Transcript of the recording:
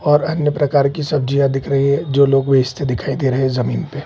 और अन्य प्रकार के सब्जियाँ दिख रही हैं जो लोग बेचते दिख रहे हैं जमीन पे --